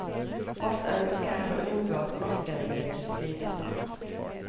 Vårt ønske er å unngå at rocken blir tilsidesatt.